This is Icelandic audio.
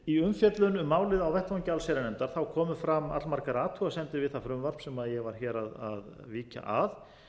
í umfjöllun um málið á vettvangi allsherjarnefndar komu fram allmargar athugasemdir við það frumvarp sem ég var hér að víkja að